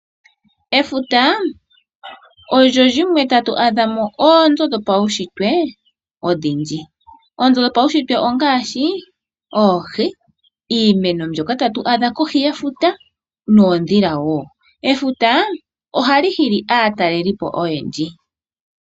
Efuta olyo limwe tatu adha mo oonzo dhopaushitwe odhindji. Oonzo dhopaushitwe ongaashi oohi , iimeno mbyoka tatu adha kohi yefuta noondhila woo. Efuta ohali hili aatalelipo oyendji.